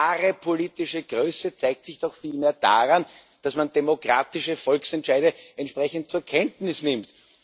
Wahre politische Größe zeigt sich doch vielmehr daran, dass man demokratische Volksentscheide entsprechend zur Kenntnis nimmt.